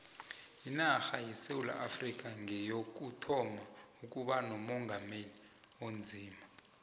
inarha yesewula afrikha ngeyokuthoma ukuba nomongameli onzima